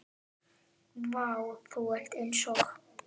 Vá, þú ert eins og.